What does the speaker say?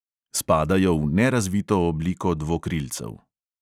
Spadajo v nerazvito obliko dvokrilcev.